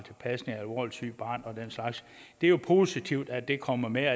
til pasning af alvorligt sygt barn og den slags det er jo positivt at det kommer med